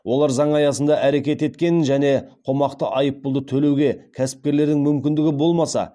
олар заң аясында әрекет еткенін және қомақты айыппұлды төлеуге кәсіпкерлердің мүмкіндігі болмаса